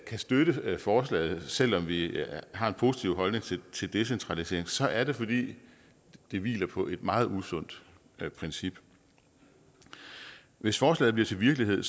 kan støtte forslaget selv om vi har en positiv holdning til decentralisering så er det fordi det hviler på et meget usundt princip hvis forslaget blev til virkelighed